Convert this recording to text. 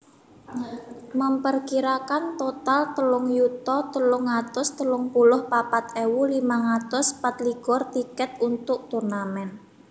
memperkirakan total telung yuta telung atus telung puluh papat ewu limang atus patlikur tiket untuk turnamen